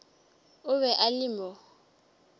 o be a le mo